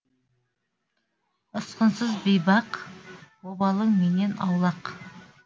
ұсқынсыз бейбақ обалың менен аулақ